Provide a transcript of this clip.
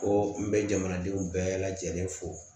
Ko n bɛ jamanadenw bɛɛ lajɛlen fo